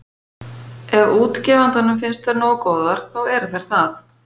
Ef útgefandanum finnst þær nógu góðar, þá eru þær það.